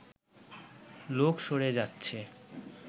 লোক সরে যাচ্ছে